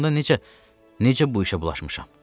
Bəs onda necə, necə bu işə bulaşmışam?